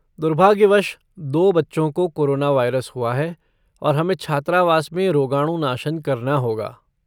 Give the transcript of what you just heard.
दुर्भाग्यवश, दो बच्चों को कोरोना वायरस हुआ है और हमें छात्रावास में रोगाणुनाशन करना होगा।